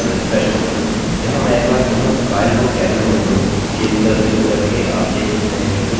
यहाँ मैं एक बार पुनः kyle को karen में बदलूँगा change पर क्लिक करके आप देख सकते हैं कि कुछ नहीं हुआ